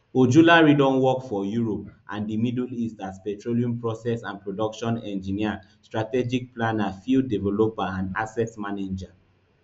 ojulari don work for europe and di middle east as petroleum process and production engineer strategic planner field developer and asset manager